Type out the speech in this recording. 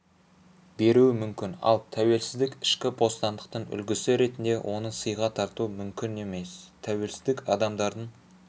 беруі мүмкін ал тәуелсіздік ішкі бостандықтың үлгісі ретінде оны сыйға тарту мүмкін емес тәуелсіздік адамдардың